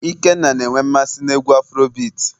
ikenna na enwe mmasị n'egwu afurobeati